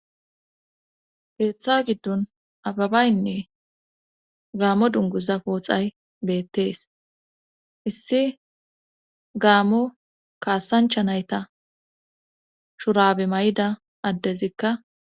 Keetha giddon ababynne gaammo dungguza pooxay beettees issi gaaamo kaasancha nayta shuraabe mayida addezikka